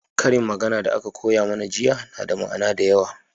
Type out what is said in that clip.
ƙarin magana da aka koya mana jiya na da ma'ana da yawa